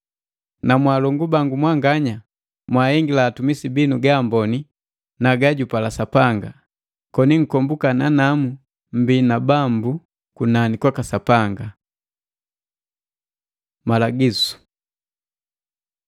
Na mwaakolongu mwanganya, mwahengila atumisi binu gaamboni na gajupala Sapanga, koni nkomboka nanamu mmbii na Bambu kunani kwaka Sapanga. Malagisu